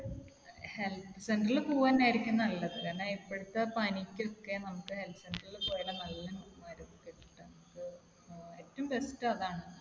health center ൽ പോവന്നെരിക്കും നല്ലത്. കാരണം ഇപ്പോഴത്തെ പനിക്കൊക്കെ നമുക്ക് health center ൽ പോയാല നല്ല മരുന്ന് കിട്ടുന്നത്. ഏറ്റവും best അതാണ്.